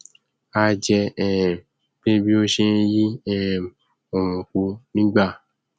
a jẹ um pé bí ó ṣe nyí um òòrùn po nígbà